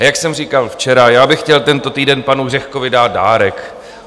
A jak jsem říkal včera, já bych chtěl tento týden panu Řehkovi dát dárek.